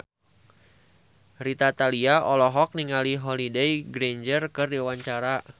Rita Tila olohok ningali Holliday Grainger keur diwawancara